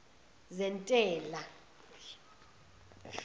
zentela